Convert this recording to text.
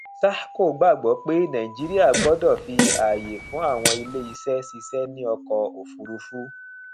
sahco gbàgbó pé naijiría gbọdò fi ààyé fún àwọn ilé iṣé ṣìṣẹ ní ọkò òfúrufú